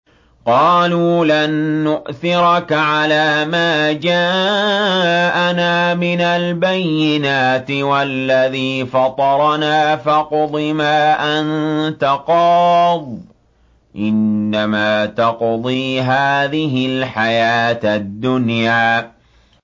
قَالُوا لَن نُّؤْثِرَكَ عَلَىٰ مَا جَاءَنَا مِنَ الْبَيِّنَاتِ وَالَّذِي فَطَرَنَا ۖ فَاقْضِ مَا أَنتَ قَاضٍ ۖ إِنَّمَا تَقْضِي هَٰذِهِ الْحَيَاةَ الدُّنْيَا